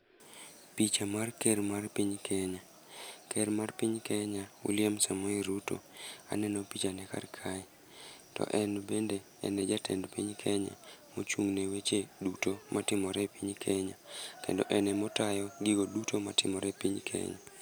Picha mar ker mar piny Kenya. Ker mar piny Kenya William Samoei Ruto aneno picha ne kar kae, to en bende en e jatend piny Kenya mochung'ne weche duto matimore e piny Kenya, kendo en ema otayo gigo duto ma timore e piny Kenya.